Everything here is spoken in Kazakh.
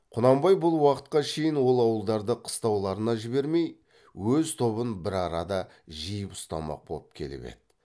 құнанбай бұл уақытқа шейін ол ауылдарды қыстауларына жібермей өз тобын бір арада жиып ұстамақ боп келіп еді